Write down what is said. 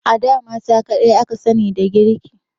A da mata kadai aka sani da girki